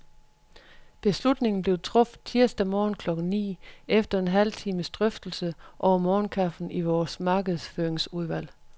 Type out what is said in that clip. Beslutningen blev truffet tirsdag morgen klokken ni, efter en halv times drøftelse over morgenkaffen i vores markedsføringsudvalg.